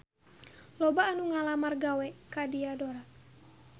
Loba anu ngalamar gawe ka Diadora